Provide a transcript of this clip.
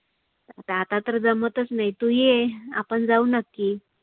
आता तर जमतच नाही. तु ये आपण जाऊ नक्की.